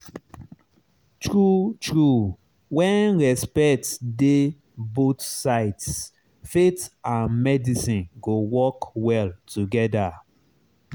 true true when respect dey both sides faith and medicine go work well together.